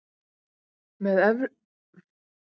Með erfiðismunum tekst henni að rétta sig upp.